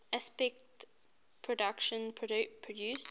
aspect productions produced